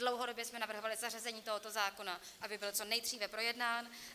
Dlouhodobě jsme navrhovali zařazení tohoto zákona, aby byl co nejdříve projednán.